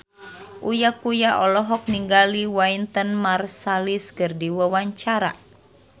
Uya Kuya olohok ningali Wynton Marsalis keur diwawancara